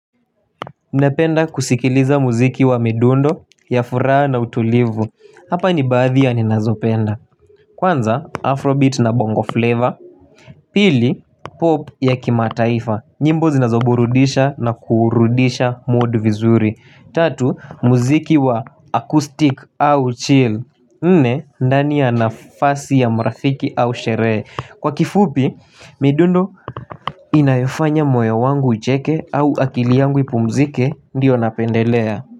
Napenda kusikiliza muziki wa midundo ya furaha na utulivu Hapa ni bathi ya ninazopenda Kwanza afrobeat na bongo flavor Pili pop ya kimataifa nyimbo zinazoburudisha na kuurudisha modu vizuri Tatu muziki wa acoustic au chill nne ndani ya nafasi ya mrafiki au sheree kwa kifupi midundo inayofanya moyo wangu icheke au akili yangu ipumzike ndiyo napendelea.